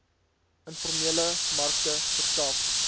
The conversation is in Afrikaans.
informele markte verskaf